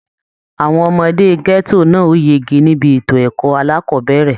Àwọn ọmọdé gẹto náà o yege nibi ètò ẹ̀kọ́ alákọ̀bẹ̀rẹ̀.